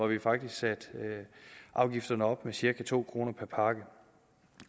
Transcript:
vi faktisk satte afgifterne op med cirka to kroner per pakke